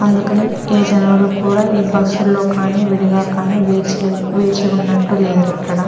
అందుకని ఈ జనాలు కూడా ఈ బస్ ల్లో కానీ విడిగా కానీ వేచిలే వేచి ఉన్నట్టు లేరిక్కడ.